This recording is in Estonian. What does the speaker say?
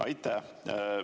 Aitäh!